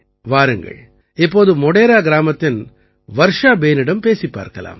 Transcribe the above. வாருங்கள் இப்போது மோடேரா கிராமத்தின் வர்ஷா பேனிடம் பேசிப் பார்க்கலாம்